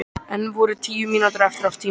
Enn voru tíu mínútur eftir af tímanum.